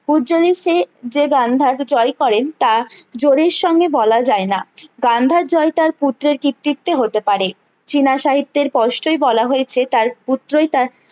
পূর্জলের সেই যে গান্ধারকে জয় করেন তা জোরের সঙ্গে বলা যায় না গান্ধার জয় তার পুত্রের কৃর্তৃতে হতে পারে চীনা সাহিত্যের পোস্টই বলা হয়েছে তার পুত্রই তার